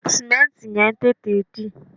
Sìmẹ́ǹtì yẹn ń tètè dì